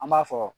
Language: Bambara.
An b'a fɔ